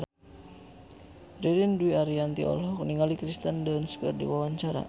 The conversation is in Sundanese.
Ririn Dwi Ariyanti olohok ningali Kirsten Dunst keur diwawancara